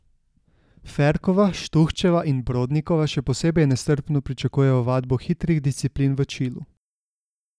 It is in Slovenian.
Ferkova, Štuhčeva in Brodnikova še posebej nestrpno pričakujejo vadbo hitrih disciplin v Čilu.